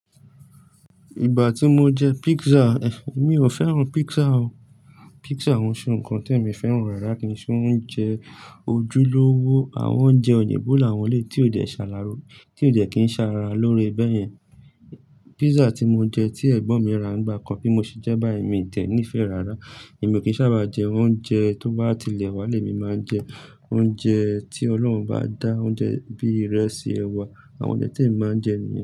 Igba ti mo jẹ pizza eh mi o fẹràn pizza o. Pizza òun ṣe nǹkan tí èmi fẹ́ràn rárá kí ṣe oúnjẹ ojúlówó àwọn oúnjẹ òyìnbó làwọn lè tí ò dé ṣara loore, tí ò dé kí n ṣàrá lóore bẹ́yẹn. Pizza tí mo jẹ tí ẹ̀gbọ́n mi ra nígbà kan bí mo ṣe jẹ́ bá mi tẹ̀ ní ìfẹ́ rárá. Èmi ò kín sábà jẹ oúnjẹ tó bá ti lẹ̀ wá lé mi máa jẹ oúnjẹ tí Ọlọ́run bá dá oúnjẹ bí ìrẹsì, ẹwà àwọn oúnjẹ tí èmi máa ń jẹ nìyẹn.